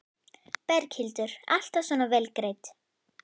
Berghildur: Alltaf svona vel greidd?